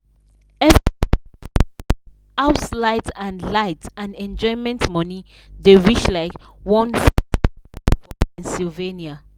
every month house light and light and enjoyment money dey reach like $150 for pennsylvania